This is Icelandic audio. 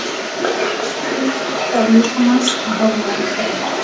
Helstu innkirtlar líkamans og hormón þeirra.